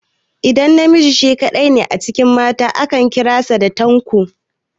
Idan namiji shi kaɗai ne a cikin mata, ana kiran sa Tanko.